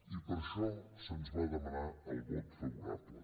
i per això se’ns va demanar el vot favorable